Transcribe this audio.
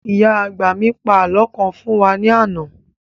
Ìyá àgbà mì pa àlọ́ kan fún wa ní àná